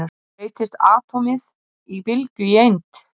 Breytist atómið úr bylgju í eind?